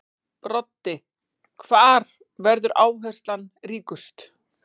Broddi: Hvar verður áherslan ríkust?